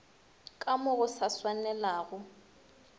ka mo go sa swanelago